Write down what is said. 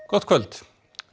gott kvöld